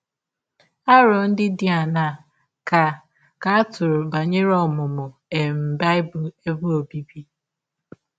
Arọ ndị dị aṅaa ka ka a tụrụ banyere ọmụmụ um Bible ebe ọbịbị?